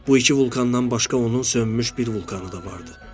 Bu iki vulkandan başqa onun sönmüş bir vulkanı da vardı.